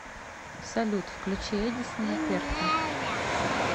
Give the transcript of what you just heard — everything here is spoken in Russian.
салют включи эдисона перца